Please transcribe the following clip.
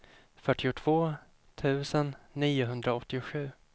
fyrtiotvå tusen niohundraåttiosju